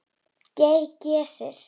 GEY- Geysir.